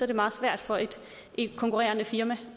det meget svært for et konkurrerende firma